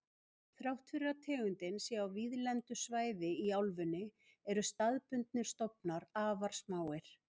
Þrátt fyrir að tegundin sé á víðlendu svæði í álfunni eru staðbundnir stofnar afar smáir.